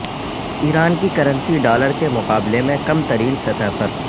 ایران کی currency dollar کے مقابلے میں کم ترین سطح پر